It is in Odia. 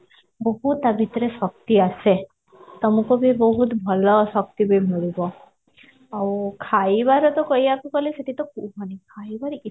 ବହୁତ ତା ଭିତରେ ଶକ୍ତି ଆସେ ତମକୁ ବି ବହୁତ ଭଲ ଶକ୍ତି ବି ମିଳିବ ଆଉ ଖାଇବାରେ ତ କହିବାକୁ ଗଲେ ସେଠି ତ ମାନେ ଖାଇବାରେ ଏତେ